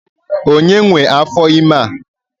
Onye nwe afor ime a?